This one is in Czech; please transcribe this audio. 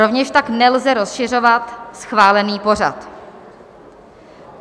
Rovněž tak nelze rozšiřovat schválený pořad.